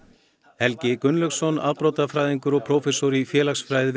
Helgi Gunnlaugsson afbrotafræðingur og prófessor í félagsfræði við